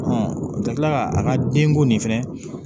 ka tila ka an ka denko nin fɛnɛ